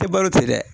Tɛ balo tɛ dɛ